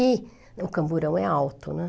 E o camburão é alto, né?